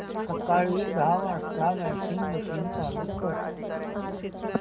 सकाळी दहा वाजता वॉशिंग मशीन चालू कर